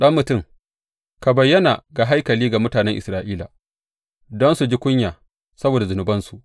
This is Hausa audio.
Ɗan mutum, ka bayyana haikalin ga mutanen Isra’ila, don su ji kunya saboda zunubansu.